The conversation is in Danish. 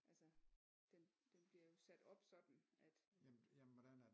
Altså den bliver jo sat op sådan at